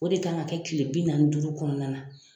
O de kan ka kɛ kile bi nanni ni duuru kɔnɔna na